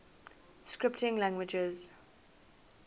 scripting languages